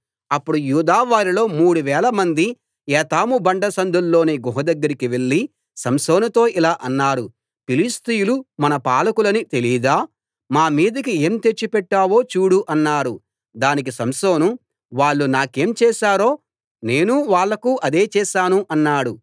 అప్పుడు యూదా వారిలో మూడువేలమంది ఏతాము బండ సందుల్లోని గుహ దగ్గరికి వెళ్లి సంసోనుతో ఇలా అన్నారు ఫిలిష్తీయులు మన పాలకులని తెలీదా మా మీదికి ఏం తెచ్చిపెట్టావో చూడు అన్నారు దానికి సంసోను వాళ్ళు నాకేం చేసారో నేనూ వాళ్ళకూ అదే చేసాను అన్నాడు